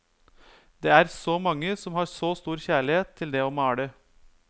Det er så mange som har så stor kjærlighet til det å male.